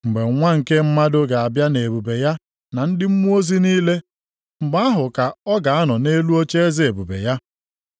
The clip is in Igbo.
“Mgbe Nwa nke Mmadụ ga-abịa nʼebube ya na ndị mmụọ ozi niile, mgbe ahụ ka ọ ga-anọ nʼelu ocheeze ebube ya.